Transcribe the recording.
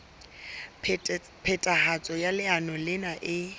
phethahatso ya leano lena e